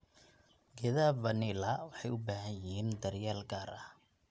Geedaha vanila waxay u baahan yihiin daryeel gaar ah.